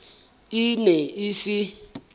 e ne e se e